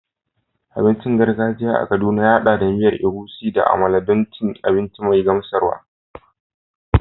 Abincin gargajiya a Kaduna ya haɗa da miya Egusi da amala don cin abinci mai gamsarwa.